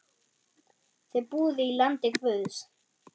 Þið búið í landi guðs.